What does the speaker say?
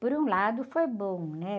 Por um lado, foi bom, né?